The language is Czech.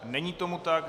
Není tomu tak.